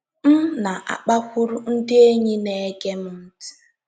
M na - akpakwuru ndị enyi na - ege m ntị.